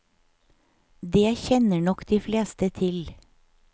Det kjenner nok de fleste til.